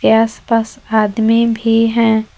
के आसपास आदमी भी है।